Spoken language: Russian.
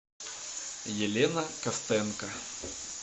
елена костенко